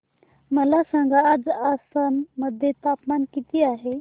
मला सांगा आज आसाम मध्ये तापमान किती आहे